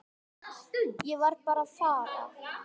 Ég bara varð að fara.